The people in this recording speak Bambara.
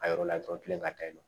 A yɔrɔ la dɔrɔn tilen ka taa yen nɔ